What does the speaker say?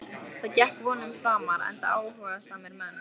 Það gekk vonum framar enda áhugasamir menn.